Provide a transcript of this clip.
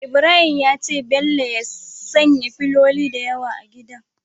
Ibrahim ya ce bello ya sanya filoli da yawa a gidan